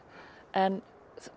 en